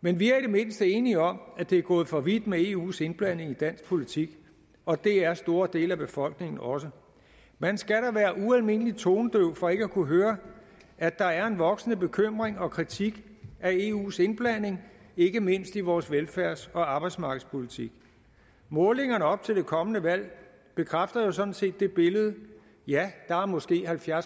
men vi er i det mindste enige om at det er gået for vidt med eus indblanding i dansk politik og det er store dele af befolkningen også man skal da være ualmindelig tonedøv for ikke at kunne høre at der er en voksende bekymring og kritik af eus indblanding ikke mindst i vores velfærds og arbejdsmarkedspolitik målingerne op til det kommende valg bekræfter jo sådan set det billede ja der er måske halvfjerds